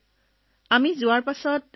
প্ৰথম দিনাই আমি সকলোৱে গৈছিলো